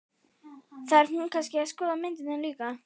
Þarf hún kannski að skoða myndirnar líka?